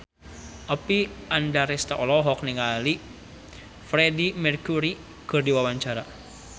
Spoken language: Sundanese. Oppie Andaresta olohok ningali Freedie Mercury keur diwawancara